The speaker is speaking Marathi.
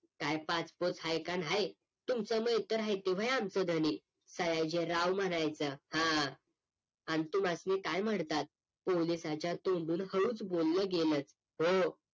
साहेब PASSPORT आहे का नाही तुमच नवकर आहे की होय आमचं देणे सयाजीराव म्हणायचं हा आणि तुम्हास्नी काय म्हणतात पोलिसाच्या तोंडून हळूच बोल गेल ओ